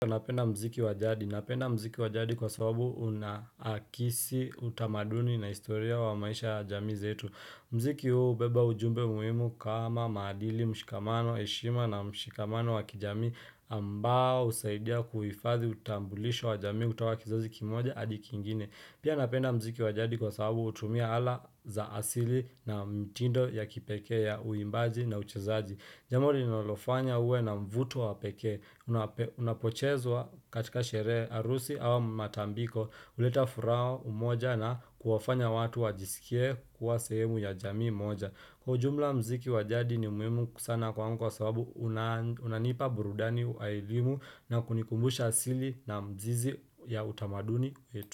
Napenda mziki wajadi. Napenda mziki wajadi kwa sababu una akisi utamaduni na historia wa maisha ya jamii zetu. Mziki huu hubeba ujumbe muhimu kama madili mshikamano, heshima na mshikamano wa kijamii ambao husaidia kuhifadhi utambulisho wa jamii ukawa kizazi kimoja hadi kingine. Pia napenda mziki wajadi kwa sababu hutumia ala za asili na mtindo ya kipekee ya uimbaji na uchezaji. Jambo linalofanya uwe na mvuto wapekee, unapochezwa katika sherehe, harusi au matambiko, huleta furaha umoja na kuwafanya watu wajisikie kuwa sehemu ya jamii moja. Kwa ujumla mziki wajadi ni muhimu ksana kwangu kwa sababu unanipa burudani ya elimu na kunikumbusha sili na mzizi ya utamaduni.